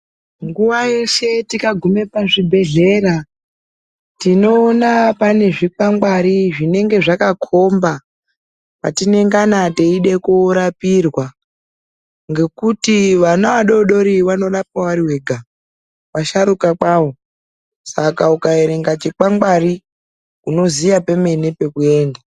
Nguwa yeshe tikagume pazvibhehlera, tinoona pane zvikwangwari zvinenge zvakakhomba kwatinengana teide korapirwa ngekuti vana vadodori vanorwapwa vari vega, vasharuka kwavo saka ukaerenga chikwangwari unoziya pemene pekuenda.